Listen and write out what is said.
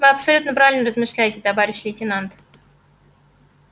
вы абсолютно правильно размышляете товарищ лейтенант